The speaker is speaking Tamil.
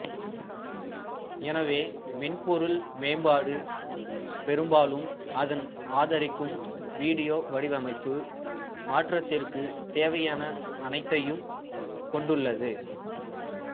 எனவே மென்பொருள் மேம்பாடு பெரும்பாலும் அதன் ஆதரிக்கும் வீடியோ வடிவமைப்பு மாற்றத்திற்குத் தேவையான அனைத்தையும் கொண்டுள்ளது